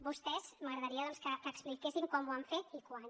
vostès m’agradaria doncs que expliquessin com ho han fet i quan